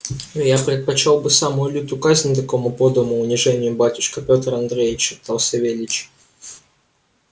я предпочёл бы самую лютую казнь такому подлому унижению батюшка пётр андреич шептал савельич